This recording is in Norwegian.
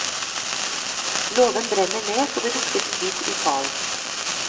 Låven brenner ned så det lukter svidd i salen.